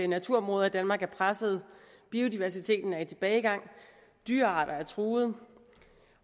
naturområder i danmark er pressede at biodiversiteten er i tilbagegang at dyrearter er truet